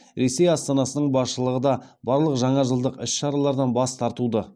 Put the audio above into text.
ресей астанасының басшылығы да барлық жаңажылдық іс шаралардан бас тартуды